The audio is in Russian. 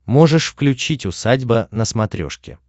можешь включить усадьба на смотрешке